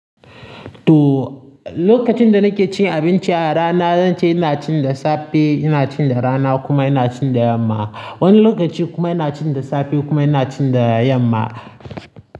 To, lokacin da nake cin abinci a rana, zan ce ina cin da safe, ina cin da rana kuma ina cin da yamma. Wani lokaci kuma ina cin da safe kuma ina cin da yamma.